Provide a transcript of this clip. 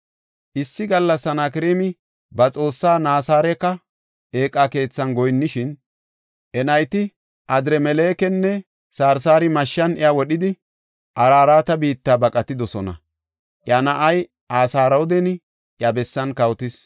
Issi gallas Sanakreemi ba xoossaa Nasaraaka Eeqa Keethan goyinnishin, iya nayti Adramelekinne Sarsari mashshan iya wodhidi, Araraate biitta baqatidosona. Iya na7ay Asradooni iya bessan kawotis.